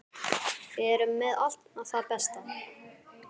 Við erum með allt það besta.